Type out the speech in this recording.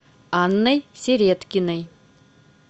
анной середкиной